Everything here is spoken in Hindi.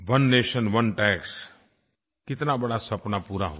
ओने नेशन ओने टैक्स कितना बड़ा सपना पूरा हुआ